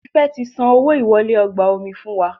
Tife ti san owo ìwọlé ọgbà omi fún wá